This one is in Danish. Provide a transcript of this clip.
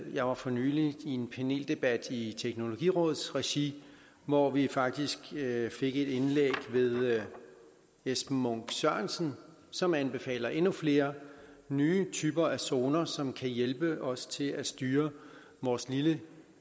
jeg var for nylig i en paneldebat i teknologirådets regi hvor vi faktisk fik et indlæg ved esben munk sørensen som anbefaler endnu flere nye typer af zoner som kan hjælpe os til at styre vores lille